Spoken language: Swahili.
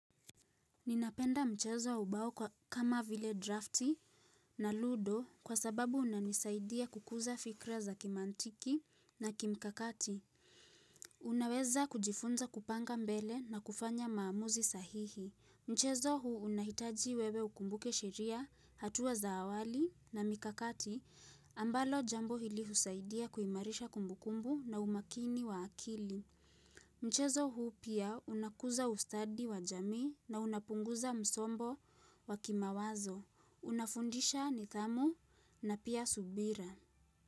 Ninapenda mchezo wa ubao kama vile drafti na ludo kwa sababu unanisaidia kukuza fikra za kimantiki na kimkakati. Unaweza kujifunza kupanga mbele na kufanya maamuzi sahihi. Mchezo huu unahitaji wewe ukumbuke sheria hatua za awali na mikakati ambalo jambo hili husaidia kuimarisha kumbukumbu na umakini wa akili. Mchezo huu pia unakuza ustadi wa jamii na unapunguza msombo wa kimawazo. Unafundisha nidhamu na pia subira.